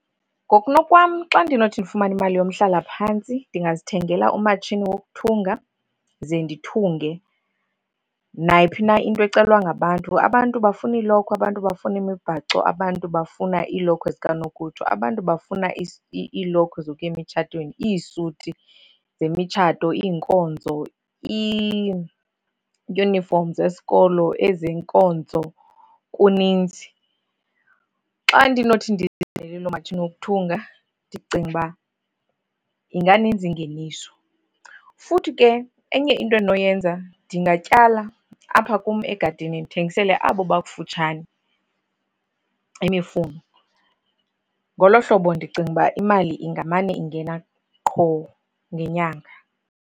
Ngokunokwam, xa ndinothi ndifumane imali yomhlalaphantsi ndingazithengela umatshini wokuthunga ze ndithunge nayiphi na into ecelwa ngabantu. Abantu bafuna iilokhwe, abantu bafuna imibhaco, abantu bafuna iilokhwe zikanokutsho, abantu bafuna iilokhwe zokuya emtshatweni, iisuti zemitshato, iinkonzo, iiyunifom zesikolo, ezenkonzo, kuninzi. Xa ndinothi ndizithengele loo matshini wokuthunga ndicinga uba inganinzi ingeniso. Futhi ke enye into endinoyenza ndingatyala apha kum egadini ndithengisele abo bakufutshane imifuno. Ngolo hlobo ndicinga uba imali ingamane ingena qho ngenyanga.